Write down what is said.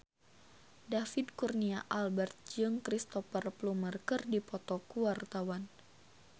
David Kurnia Albert jeung Cristhoper Plumer keur dipoto ku wartawan